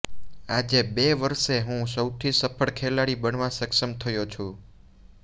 આજે બે વરસે હું સૌથી સફળ ખેલાડી બનવા સક્ષમ થયો છું